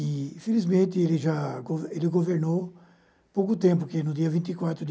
e Infelizmente, ele já go ele governou pouco tempo, porque no dia vinte e quatro de